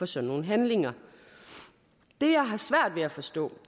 sådan nogle handlinger det jeg har svært ved at forstå